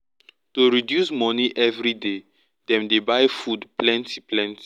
to reduce money every day dem dey buy food plenty plenty